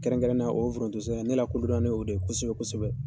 Kɛrɛnkɛrɛnnenya o forontosɛnɛ ne lakodɔnna n'o de ye kosɛbɛ kosɛbɛ.